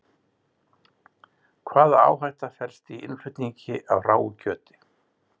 Hvaða áhætta felst í innflutningi á hráu kjöti?